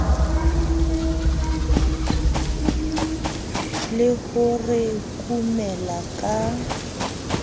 le ho re kumela ka